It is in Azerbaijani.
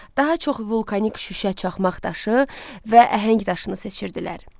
Daha çox vulkanik şüşə, çaxmaq daşı və əhəng daşını seçirdilər.